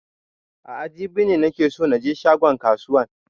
A'a jibi ne nake so na je shagon kasuwan